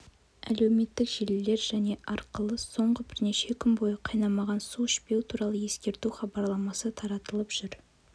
әлеуметтік желілер және арқылы соңғы бірнеше күн бойы қайнамаған су ішпеу туралы ескерту хабарламасы таратылып жүр